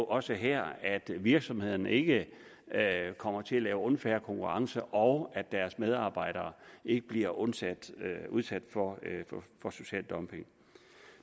og også her at virksomhederne ikke kommer til at lave unfair konkurrence og at deres medarbejdere ikke bliver udsat udsat for social dumping